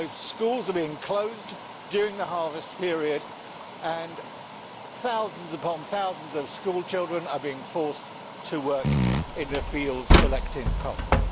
Schools are being closed during the harvest period and thousands upon thousands of school children are being forced to work in the fields collecting cotton.